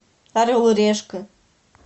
орел и решка